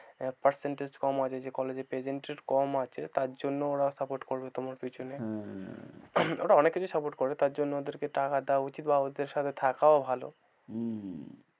Percentage কম আছে যে college present কম আছে তার জন্য ওরা support করবে তোমার পিছনে, হ্যাঁ। ওরা অনেক কিছুই support করে তার জন্য ওদেরকে টাকা দেওয়া উচিত বা ওদের সাথে থাকাও ভালো হম